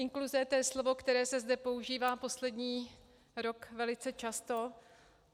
Inkluze, to je slovo, které se zde používá poslední rok velice často.